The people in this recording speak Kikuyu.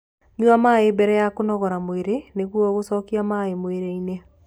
Nyua maĩ mbere ya kũnogora mwĩrĩ nĩguo gucokia maĩ mwĩrĩ-ini